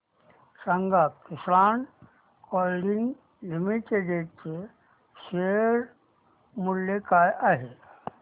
सांगा Kisan moulding limited चे share मूल्य काय आहे